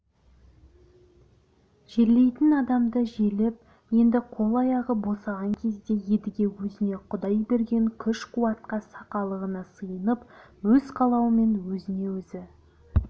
жерлейтін адамды жерлеп енді қол-аяғы босаған кезде едіге өзіне құдай берген күш-қуатқа сақалығына сиынып өз қалауымен өзіне өзі